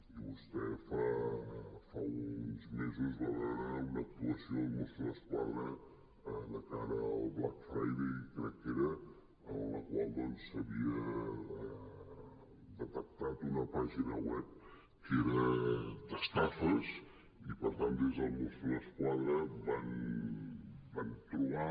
i vostè fa uns mesos va veu·re una actuació dels mossos d’esquadra de cara al black friday crec que era en la qual doncs s’havia detectat una pàgina web que era d’estafes i per tant des de mossos d’esquadra van trobar